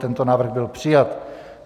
Tento návrh byl přijat.